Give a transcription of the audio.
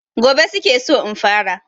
Gobe su ke so in fara.